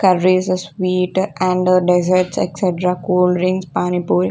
Curries sweet and desserts etc cold drinks Pani Puri.